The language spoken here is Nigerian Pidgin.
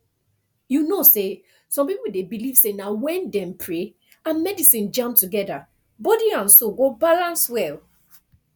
you know say some people dey believe say na when dem pray and medicine jam together body and soul go balance well